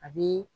A bi